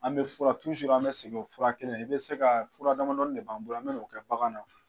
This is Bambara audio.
An bɛ fura an bɛ segin o fura kelen, i bɛ se ka fura damadɔni de b'an bolo an bɛ k'o kɛ bagan na